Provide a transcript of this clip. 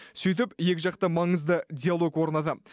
сөйтіп екі жақты маңызды диалог орнады